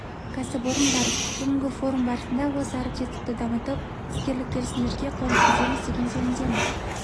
кәсіпорын бар бүгінгі форум барысында осы әріптестікті дамытып іскерлік келісімдерге қол жеткіземіз ғой деген сенімдемін